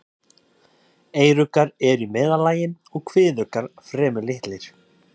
Eyruggar eru í meðallagi og kviðuggar fremur litlir.